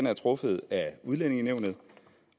er truffet af udlændingenævnet